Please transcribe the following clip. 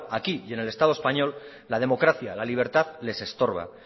aquí y en el estado español la democracia la libertad les estorba